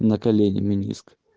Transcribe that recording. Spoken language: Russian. на колене мениск